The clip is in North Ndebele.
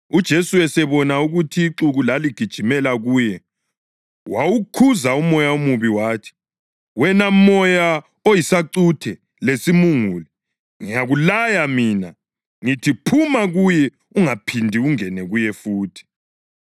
UJesu esebona ukuthi ixuku laligijimela kuye wawukhuza umoya omubi wathi, “Wena moya oyisacuthe lesimungulu, ngiyakulaya mina, ngithi phuma kuye ungaphindi ungene kuye futhi.”